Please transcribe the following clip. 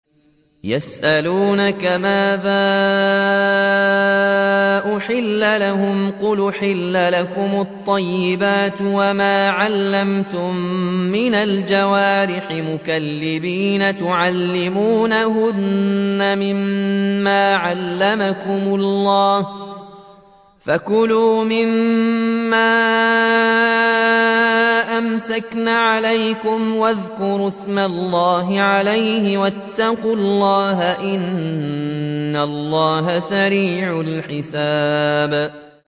يَسْأَلُونَكَ مَاذَا أُحِلَّ لَهُمْ ۖ قُلْ أُحِلَّ لَكُمُ الطَّيِّبَاتُ ۙ وَمَا عَلَّمْتُم مِّنَ الْجَوَارِحِ مُكَلِّبِينَ تُعَلِّمُونَهُنَّ مِمَّا عَلَّمَكُمُ اللَّهُ ۖ فَكُلُوا مِمَّا أَمْسَكْنَ عَلَيْكُمْ وَاذْكُرُوا اسْمَ اللَّهِ عَلَيْهِ ۖ وَاتَّقُوا اللَّهَ ۚ إِنَّ اللَّهَ سَرِيعُ الْحِسَابِ